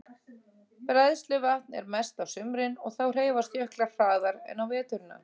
Bræðsluvatn er mest á sumrin og þá hreyfast jöklar hraðar en á veturna.